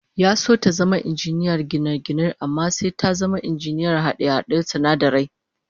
Ya so ta zama injiniyar gine-gine amma sai ta zama injiniyar hade-haden sinadarai